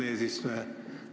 Hea minister!